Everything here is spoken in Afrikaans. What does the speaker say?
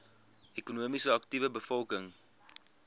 ekonomies aktiewe bevolking